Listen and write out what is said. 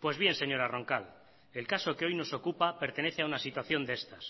pues bien señora roncal el caso que hoy nos ocupa pertenece a una situación de estas